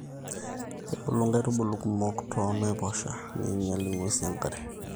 kebulu nkaitubulu kumok too naiposha neinyal nguesi enkare